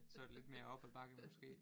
Så var det lidt mere op ad bakke måske